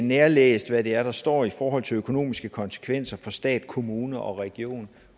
nærlæst hvad det er der står i forhold til økonomiske konsekvenser for stat kommune og region